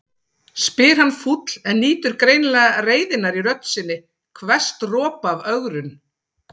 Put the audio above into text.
spyr hann fúll en nýtur greinilega reiðinnar í rödd sinni, hvers dropa af ögrun.